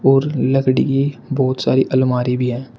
और लकड़ी की बहुत सारी अलमारी भी हैं।